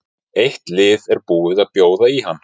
Eitt lið er búið að bjóða í hann.